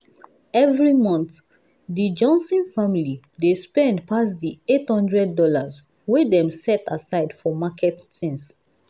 every month the johnson family dey spend pass the $800 wey dem set aside for market things.